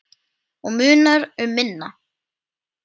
Og munar um minna.